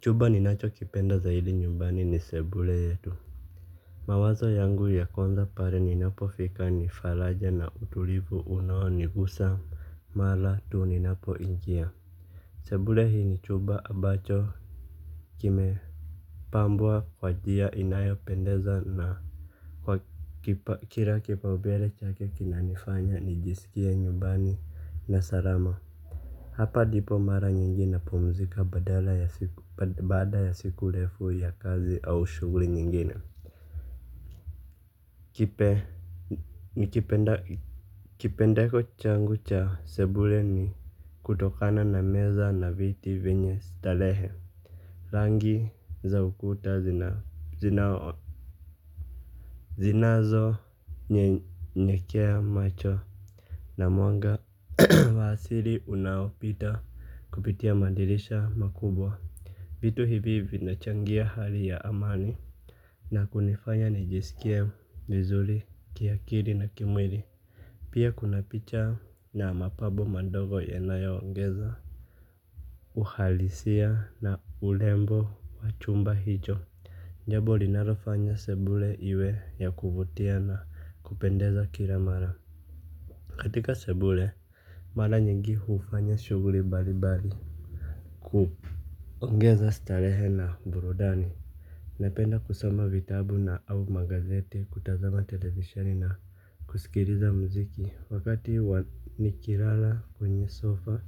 Chumba ni nacho kipenda zaidi nyumbani ni sebule yetu. Mawazo yangu ya kwanza pare ninapo fika nifalaja na utulivu unawo nigusa. Mara tu ninapo ingia sebule hii ni chuba abacho kime pambwa wa njia inayopendeza na kwa kila kipaumbele chake kinanifanya nijisikie nyumbani na salama. Hapa ndipo mara nyingi napumzika badala ya siku baada ya siku refu ya kazi au shughuli nyingine. Kipendeko changu cha sebule ni kutokana na meza na viti vyenye starehe rangi za ukuta zina zinazo nyekea macho. Na mwanga wa asili unaopita kupitia madirisha makubwa. Vitu hivi vinachangia hali ya amani. Na kunifanya nijisikie vizuri, kiakili na kimwili. Pia kuna picha na mapambo mandogo yanayoongeza uhalisia na urembo wa chumba hicho jambo linalofanya sebule iwe ya kuvutia na kupendeza kila mara. Katika sebule, mara nyingi huufanya shughuli mbalimbali kuongeza starehe na burudani. Napenda kusoma vitabu na au magazete kutazama televisioni na kusikiliza mziki. Wakati nikilala kwenye sofa,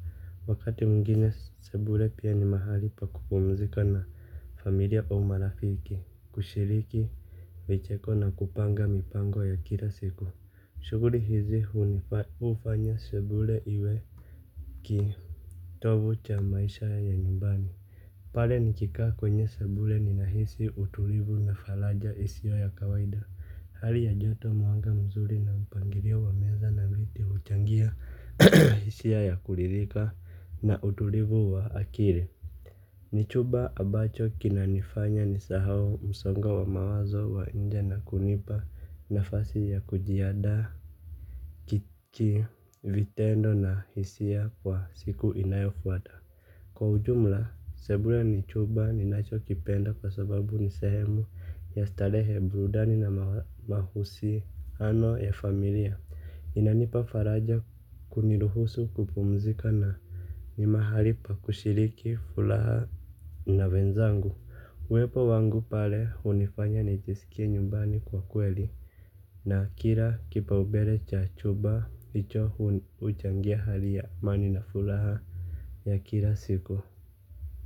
wakati mwingine sebule pia ni mahali pa kupumzika na familia au marafiki. Kushiriki vicheko na kupanga mipango ya kila siku. Shughuli hizi huni hufanya sebule iwe kitovu cha maisha ya nyumbani. Pale nikikaa kwenye sebule ninahisi utulivu na faraja isiyo ya kawaida. Hali ya joto mwanga mzuri na mpangilio wa meza na viti huchangia hisia ya kuridhika na utulivu wa akili. Ni chumba abacho kinanifanya nisahau msongo wa mawazo wa nje na kunipa nafasi ya kujiandaa kichi vitendo na hisia kwa siku inayofuata. Kwa ujumla, sebule ni chumba ninacho kipenda kwa sababu ni sehemu ya starehe burudani na mahusiano ya familia. Inanipa faraja kuniruhusu kupumzika na ni mahali pa kushiriki furaha na wenzangu. Uwepo wangu pale hunifanya nijisikie nyumbani kwa kweli. Na kila kipaumbele cha chumba ndicho huchangia hali ya amani na furaha ya kila siku.